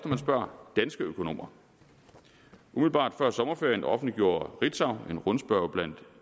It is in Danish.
man spørger danske økonomer umiddelbart før sommerferien offentliggjorde ritzau en rundspørge blandt